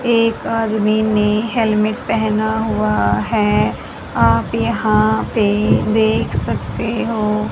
एक आदमी ने हेलमेट पहना हुआ है आप यहां पे देख सकते हो।